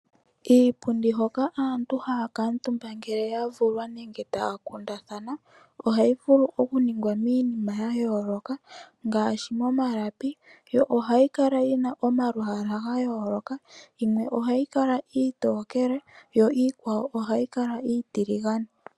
Iipundi hoka aantu haya kala omuntumba ngele ua vulwa nenge taya kundathana, ohayi vulu oku ningwa miinima ya yooloka ngaashi momalapi, yo ohayi kala yina omalwaala ga yooloka. Yimwe ohayi kala iitokele, yo iikwawo ohayi kala iitiligane.